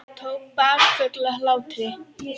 Tók bakföll af hlátri.